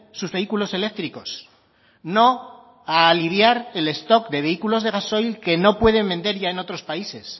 sus vehículos eléctricos no a aliviar el stock de vehículos de gasoil que no pueden vender ya en otros países